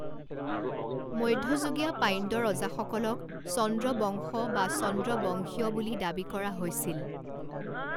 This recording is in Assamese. মধ্যযুগীয় পাণ্ড্য ৰজাসকলক চন্দ্ৰবংশ বা চন্দ্ৰ বংশীয় বুলি দাবী কৰা হৈছিল।